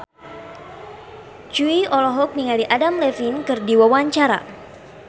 Jui olohok ningali Adam Levine keur diwawancara